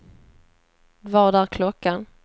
Vad är klockan